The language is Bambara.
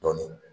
Dɔɔnin